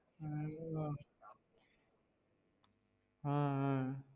ஆஹ் ஆஹ்